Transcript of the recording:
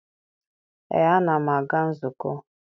ee, ana m aga nzukọ.